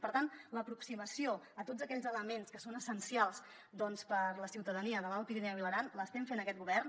per tant l’aproximació a tots aquells elements que són essencials per a la ciutadania de l’alt pirineu i l’aran l’estem fent aquest govern